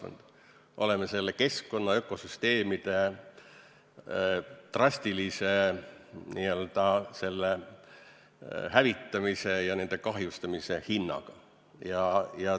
Me oleme saavutanud selle keskkonna, ökosüsteemide drastilise hävitamise ja kahjustamise hinnaga.